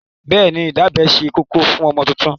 Bẹ́ẹ̀ni, ìdábẹ́ ṣe kókó fún ọmọ tuntun.